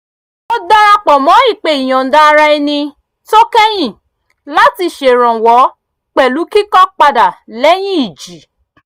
mo darapọ̀ mọ́ ìpè ìyọ̀nda-ara-ẹni tó kẹ́yìn láti ṣèrànwọ́ pẹ̀lú kíkọ́ padà lẹ́yìn ìjì